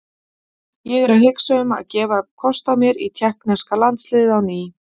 Ég er að hugsa um að gefa kost á mér í tékkneska landsliðið á ný.